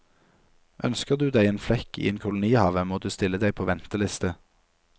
Ønsker du deg en flekk i en kolonihave, må du stille deg på venteliste.